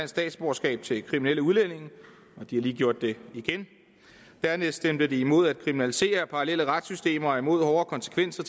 statsborgerskab til kriminelle udlændinge og de har lige gjort det igen dernæst stemte de imod at kriminalisere parallelle retssystemer og imod hårdere konsekvenser